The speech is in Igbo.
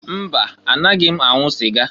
Mba! Anaghị m anwụ sịga.